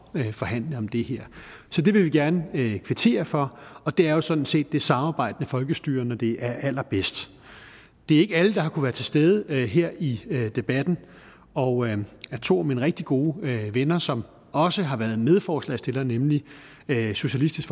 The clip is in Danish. forhandle om det her så det vil vi gerne kvittere for og det er jo sådan set det samarbejdende folkestyre når det er allerbedst det er ikke alle der har kunnet være til stede her i debatten og to af mine rigtig gode venner som også har været medforslagsstillere nemlig socialistisk